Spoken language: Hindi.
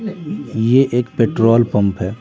यह एक पेट्रोल पंप है।